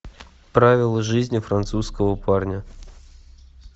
правила жизни французского парня